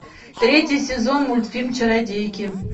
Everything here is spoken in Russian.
третий сезон мультфильм чародейки